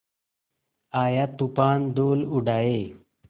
आया तूफ़ान धूल उड़ाए